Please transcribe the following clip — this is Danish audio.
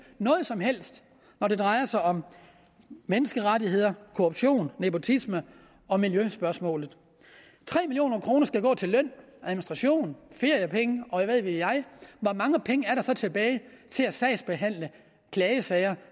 noget som helst når det drejer sig om menneskerettigheder korruption nepotisme og miljøspørgsmål tre million kroner skal gå til løn og administration feriepenge og hvad ved jeg hvor mange penge er der så tilbage til at sagsbehandle klagesager